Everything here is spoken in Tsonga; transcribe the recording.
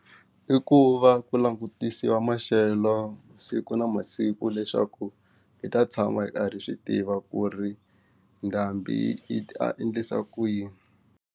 I ku va ku langutisiwa maxelo siku na masiku leswaku hi ta tshama hi karhi hi swi tiva ku ri ndhambi yi ta endlisa ku yini.